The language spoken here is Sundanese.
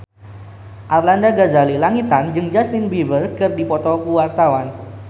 Arlanda Ghazali Langitan jeung Justin Beiber keur dipoto ku wartawan